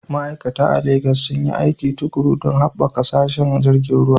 Ma'aikata a Legas sun yi aiki tuƙuru don haɓaka sassan tashar jiragen ruwa.